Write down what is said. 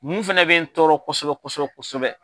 Mun fɛnɛ bɛ n tɔɔrɔ kosɛbɛ kosɛbɛ kosɛbɛ